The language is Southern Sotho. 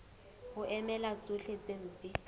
ho emela tsohle tse mpe